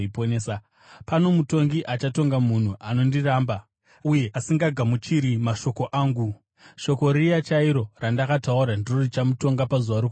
Pano mutongi achatonga munhu anondiramba uye asingagamuchiri mashoko angu; shoko riya chairo randakataura ndiro richamutonga pazuva rokupedzisira.